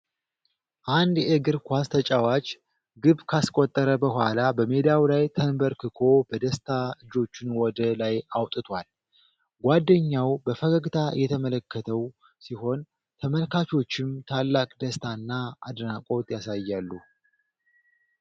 አንድ የእግር ኳስ ተጫዋች ግብ ካስቆጠረ በኋላ በሜዳው ላይ ተንበርክኮ በደስታ እጆቹን ወደ ላይ አውጥቷል። ጓደኛው በፈገግታ እየተመለከተው ሲሆን ተመልካቾችም ታላቅ ደስታና አድናቆት ያሳያሉ።